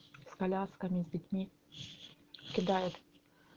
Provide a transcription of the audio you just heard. с колясками с детьми кидает